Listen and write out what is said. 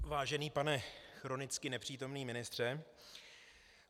Vážený pane chronicky nepřítomný ministře.